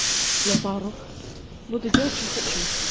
на пару буду делать что хочу